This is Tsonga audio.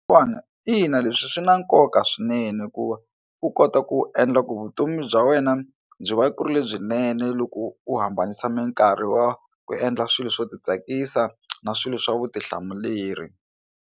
Ina, leswi swi na nkoka swinene hi ku u kota ku endla ku vutomi bya wena byi va ku ri lebyinene loko u hambanisa mikarhi wa ku endla swilo swo titsakisa na swilo swa vutihlamuleri.